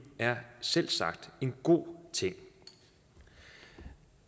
er selvsagt en god ting